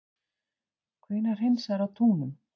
Hvenær hreinsaður af túnum?